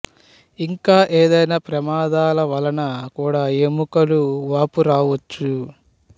ఇంకా ఏదైనా ప్రమాదాల వలన కూడా ఎముకలు వాపు రావచ్చు